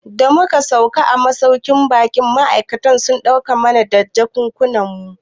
Da muka sauka a masauƙin baƙin ma'aikatan sun taimaka mu na da jakunkunan mu